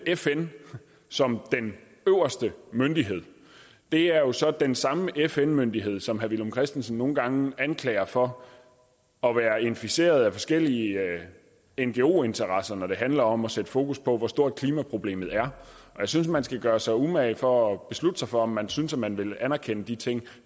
fn som den øverste myndighed det er jo så den samme fn myndighed som herre villum christensen nogle gange anklager for at være inficeret af forskellige ngo interesser når det handler om at sætte fokus på hvor stort klimaproblemet er jeg synes at man skal gøre sig umage for at beslutte sig for om man synes at man vil anerkende de ting